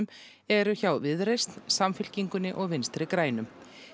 eru hjá Viðreisn Samfylkingunni og Vinstri grænum